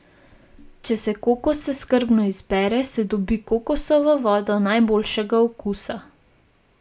Če se kokose skrbno izbere, se dobi kokosovo vodo najboljšega okusa.